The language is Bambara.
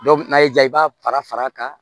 n'a y'i diya i b'a fara fara a kan